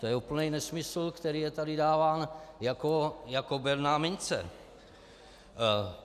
To je úplný nesmysl, který je tady dáván jako berná mince.